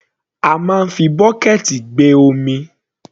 A máa ń fi bọ́kẹ̀ẹ̀tì gbé omi.